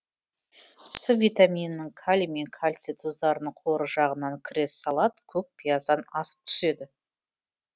с витаминінің калий мен кальций тұздарының қоры жағынан кресс салат көк пияздан асып түседі